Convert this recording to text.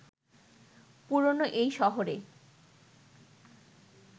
পুরোনো এই শহরে